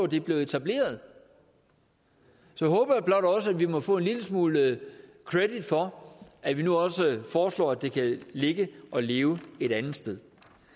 det blev etableret så håber jeg blot også må få en lille smule credit for at vi nu også foreslår at det kan ligge og leve et andet sted